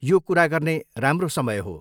यो कुरा गर्ने राम्रो समय हो।